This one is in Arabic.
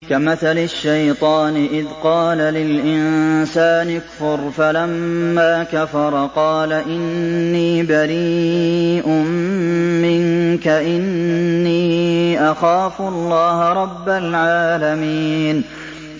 كَمَثَلِ الشَّيْطَانِ إِذْ قَالَ لِلْإِنسَانِ اكْفُرْ فَلَمَّا كَفَرَ قَالَ إِنِّي بَرِيءٌ مِّنكَ إِنِّي أَخَافُ اللَّهَ رَبَّ الْعَالَمِينَ